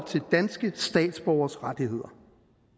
til danske statsborgeres rettigheder